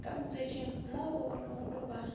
ka motswetšing mo bogologolo ba